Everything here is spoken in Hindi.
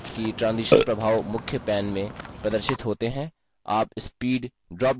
ध्यान दें कि transition प्रभाव मुख्य main में प्रदर्शित होते हैं